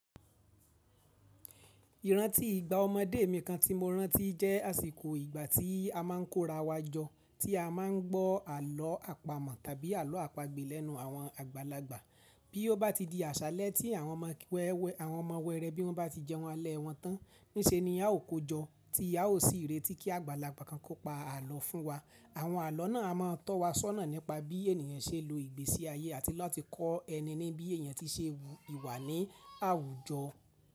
Ìrántí ìgbà ọmọdé mi kan tí mo rántí jẹ́ àsìkò ìgbà tí a máa ń kó rawa jọ tí a máa ń gbọ́ àlọ́ àpamọ̀ tàbí àlọ́ àpagbè lẹ́nu àwọn àgbàlagbà. Bí ó bá ti di àṣálẹ́ tí àwọn ọmọ wẹ́ẹ́rẹ́ bí wọ́n bá ti jẹun alẹ́ wọn tán, níṣe ni a ó kójọ, tí a ó sì retí kí àgbàlagbà kan kó pa àlọ́ fún wa. Àwọn àlọ́ náà a má a tọ́ wa sọ́nà nípa bí ènìyàn ṣe ń lo ìgbésí ayé àti láti kọ ẹni ní bí èèyàn tí ṣe wù ìwà ní àwùjọ.